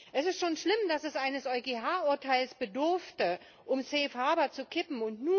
Es ist schon schlimm, dass es eines EuGH Urteils bedurfte, um Safe Habor zu kippen.